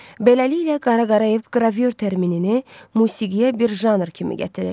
Beləliklə Qara Qarayev qravür terminini musiqiyə bir janr kimi gətirir.